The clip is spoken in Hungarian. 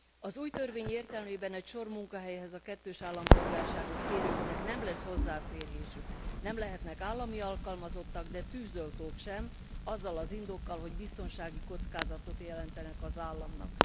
Az új törvény értelmében egy sor munkahelyhez a kettős állampolgárságot kérőknek nem lesz hozzáférésük, nem lehetnek állami alkalmazottak, de tűzoltók sem, azzal az indokkal, hogy biztonsági kockázatot jelentenek az államnak.